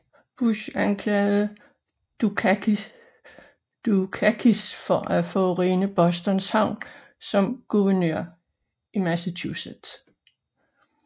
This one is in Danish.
Bush anklagede Dukakis for at forurene Boston havn som guvernør i Massachusetts